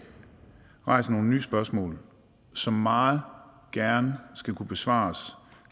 rejser nogle nye spørgsmål som meget gerne skal kunne besvares